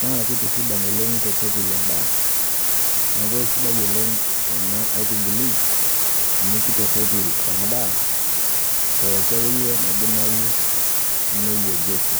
naakeitisidan oleng' neitorropil endaa. Neaku aisidai oleng' ena aitubului amu keitorropil endaa pooki akeiye naidimayu neyerieki.